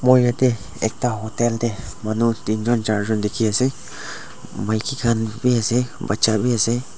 moi yatae ekta hotel tae manu teenjon charjun dikhiase maki khan bi ase bacha bi ase.